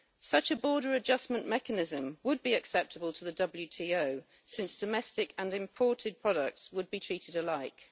Such a border adjustment mechanism would be acceptable to the WTO, since domestic and imported products would be treated alike.